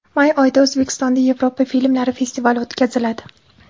May oyida O‘zbekistonda Yevropa filmlari festivali o‘tkaziladi.